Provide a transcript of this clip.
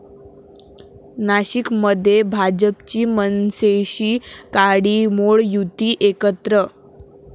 नाशिकमध्ये भाजपची मनसेशी काडीमोड, युती एकत्र